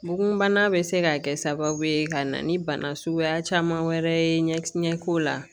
Bugun bana bɛ se ka kɛ sababu ye ka na ni bana suguya caman wɛrɛ ye ɲɛko la